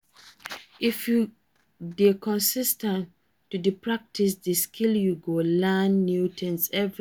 If you de consis ten t to de practice di skill you go de learn new things everyday